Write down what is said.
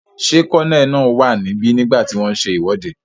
Ṣé kólóníẹ̀ náà wà níbi nígbàtí wọ́n n ṣe ìwọ́de?